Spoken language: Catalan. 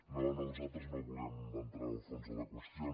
no nosaltres no volem entrar en el fons de la qües·tió